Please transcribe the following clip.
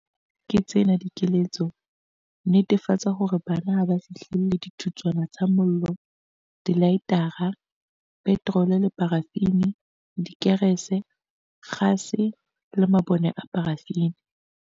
Ke tsena dikeletso- Netefatsa hore bana ha ba fihlelle dithutswana tsa mollo, dilaetara, petrole le parafini, dikerese, kgase le mabone a parafini.